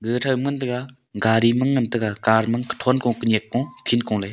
ae them ae ngan taega gari ma ngan taega car ma thoun ko pa nyak pong khit ko ley.